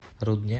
рудне